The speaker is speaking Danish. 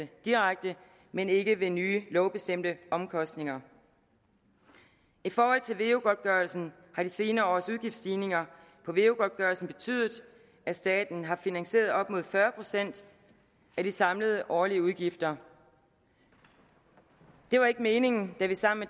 direkte men ikke ved nye lovbestemte omkostninger i forhold til veu godtgørelsen har de senere års udgiftsstigninger betydet at staten har finansieret op mod fyrre procent af de samlede årlige udgifter det var ikke meningen da vi sammen